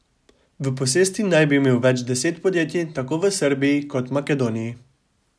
V posesti naj bi imel več deset podjetij tako v Srbiji kot Makedoniji.